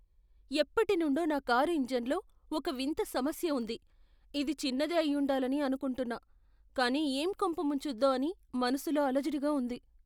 ఎప్పటినుండో నా కారు ఇంజిన్లో ఒక వింత సమస్య ఉంది. ఇది చిన్నదే అయ్యుండాలని అనుకుంటున్నా, కానీ ఏం కొంప ముంచుద్దో అని మనసులో అలజడిగా ఉంది.